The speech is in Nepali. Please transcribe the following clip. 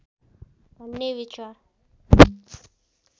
भन्ने विचार